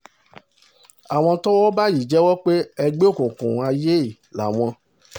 àwọn tọ́wọ́ bá yìí jẹ́wọ́ pé ẹgbẹ́ òkùnkùn aiye làwọn